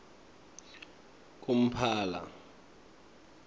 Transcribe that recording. kumphala